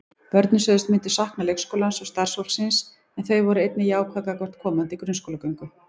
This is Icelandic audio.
Börnin sögðust myndu sakna leikskólans og starfsfólksins en þau voru einnig jákvæð gagnvart komandi grunnskólagöngu.